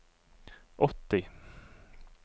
åtti